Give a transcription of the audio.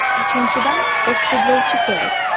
Uchinchidan, oksidlovchi kerak.